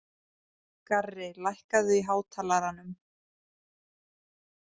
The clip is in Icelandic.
Garri, lækkaðu í hátalaranum.